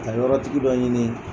Ka yɔrɔ tigi dɔ ɲini